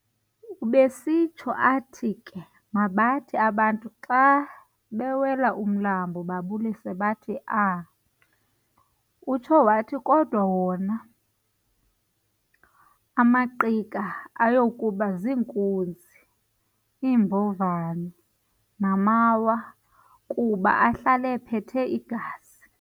Ubesitsho athi ke mabathi abantu xa bewela umlambo babulise bathi, "A! Utsho wathi kodwa wona amaNgqika ayakuba ziinkunzi, iimbovane namawa kuba ahlal'ephethe igazi.